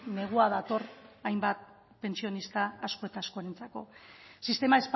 negua dator hainbat pentsionista asko eta askorentzako sistema